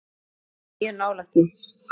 Ég var mjög nálægt því.